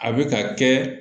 A bɛ ka kɛ